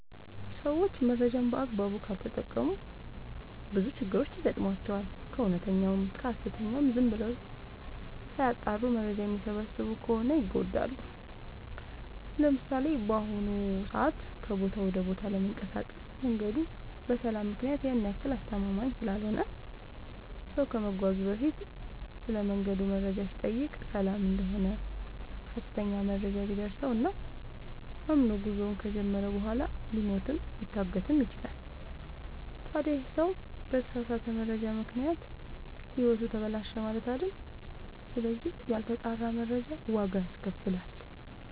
ሰዎች መረጃን በአግባቡ ካልተጠቀሙ በጣም ብዙ ችግሮች ይገጥሟቸዋል። ከእውነተኛውም ከሀሰተኛውም ዝም ብለው ሳያጠሩ መረጃ የሚሰበስቡ ከሆነ ይጎዳሉ። ለምሳሌ፦ በአሁኑ ሰዓት ከቦታ ወደ ቦታ ለመንቀሳቀስ መንገዱ በሰላም ምክንያት ያን ያክል አስተማመምኝ ስላልሆነ ሰው ከመጓዙ በፊት ስለመንገዱ መረጃ ሲጠይቅ ሰላም እደሆነ ሀሰተኛ መረጃ ቢደርሰው እና አምኖ ጉዞውን ከጀመረ በኋላ ሊሞትም ሊታገትም ይችላል። ታዲ ይህ ሰው በተሳሳተ መረጃ ምክንያት ህይወቱ ተበላሸ ማለት አይደል ስለዚህ ያልተጣራ መረጃ ዋጋ ያስከፍላል።